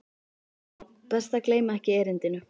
Já, best að gleyma ekki erindinu.